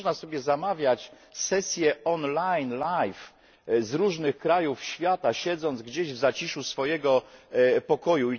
Przecież można sobie zamawiać sesje online, live, z różnych krajów świata, siedząc gdzieś w zaciszu swojego pokoju.